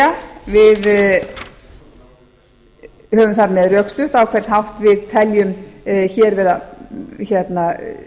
það er við höfum þar með rökstutt á hvern hátt við teljum að hér er